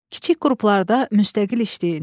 Kiçik qruplarda müstəqil işləyin.